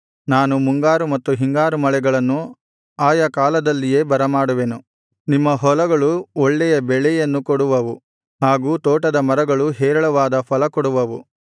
ನಾನು ಮುಂಗಾರು ಮತ್ತು ಹಿಂಗಾರು ಮಳೆಗಳನ್ನು ಆಯಾ ಕಾಲದಲ್ಲಿಯೇ ಬರಮಾಡುವೆನು ನಿಮ್ಮ ಹೊಲಗಳು ಒಳ್ಳೆಯ ಬೆಳೆಯನ್ನು ಕೊಡುವವು ಹಾಗು ತೋಟದ ಮರಗಳು ಹೇರಳವಾದ ಫಲಕೊಡುವವು